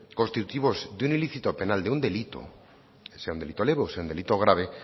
constitutivos de un ilícito penal de un delito sea un delito leve o sea un delito grave